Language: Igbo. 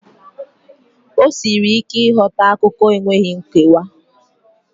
O siri ike ịghọta akụkọ enweghị nkewa.